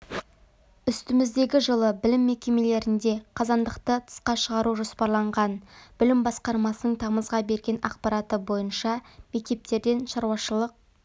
үстіміздегі жылы білім мекемелерінде қазандықты тысқа шығару жоспарланған білім басқармасының тамызға берген ақпараты бойынша мектептерден шаруашылық